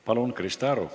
Palun, Krista Aru!